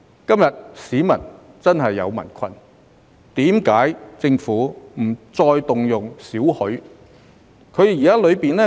既然市民今天真的遇上困難，為何政府不能動用少許儲備紓困？